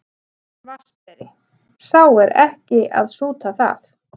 VATNSBERI: Sá er ekki að súta það.